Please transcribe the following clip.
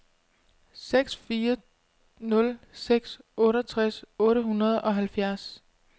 seks fire nul seks otteogtres otte hundrede og halvfjerds